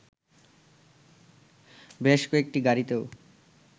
বেশ কয়েকটি গাড়িতেও